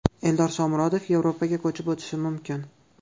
Eldor Shomurodov Yevropaga ko‘chib o‘tishi mumkin.